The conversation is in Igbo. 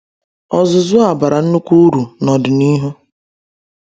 Ọzụzụ a bara nnukwu uru n’ọdịnihu.